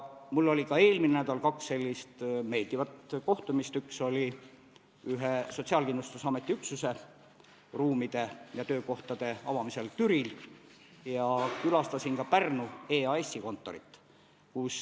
Mul oli ka eelmine nädal kaks sellist meeldivat kohtumist: üks oli Sotsiaalkindlustusameti ühe üksuse ruumide ja töö avamisel Türil ja külastasin ka Pärnu EAS-i kontorit.